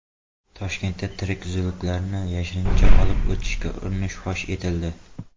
Toshkentda tirik zuluklarni yashirincha olib o‘tishga urinish fosh etildi.